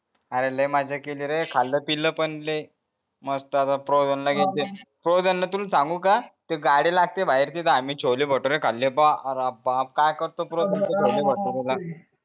अरे लय मजा केली रे झाला पिल पण लय मस्त आता फोझन ला जळते फ्रोझन ला तुला सांगू का ते गाडी लागते बाहेर तिथे आम्ही छोले भटुरे झाले पाह अरे बाप काय करतो पुड छोले बाटुरेला